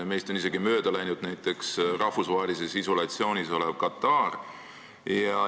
Näiteks on meist mööda läinud isegi rahvusvahelises isolatsioonis olev Katar.